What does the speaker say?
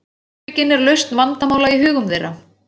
heimspekin er lausn vandamála í hugum þeirra